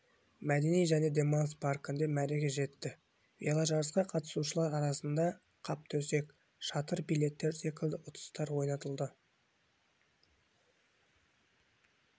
мәдени және демалыс паркінде мәреге жетті веложарысқа қатысушылар арасында қаптөсек шатыр билеттер секілді ұтыстар ойнатылды